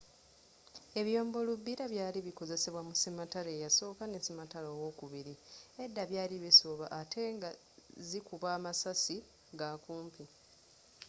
ebyombo lubbira byakozesebwa mu sematalo eyasooka ne sematalo owokubiri edda byali bisooba ate nga zi kuba amasasi ga kumpi